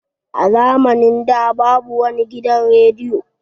A zamanin da babu wani gidan rediyo.